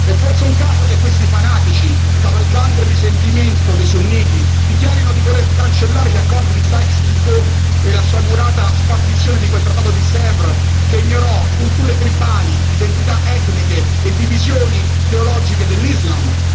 È forse un caso che questi fanatici, cavalcando il risentimento dei sunniti, dichiarino di voler cancellare gli accordi di Sykes Picot e la sciagurata spartizione di quel trattato di Sèvres che ignorò culture tribali, identità etniche e divisioni teologiche dell'islam?